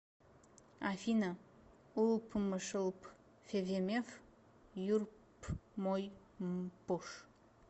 афина улпмшлп феве меф йурпмоймпуш